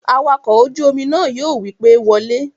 Awakọ̀ ojú-omi náà yóò wí pé, "Wọ lé!"